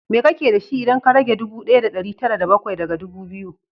Me kake da shi, idan ka rage ɗubu ɗaya da ɗari tara da bakwai daga ɗubu biyu?